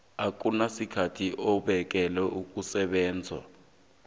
akunasikhathi esibekelwe ukusebenza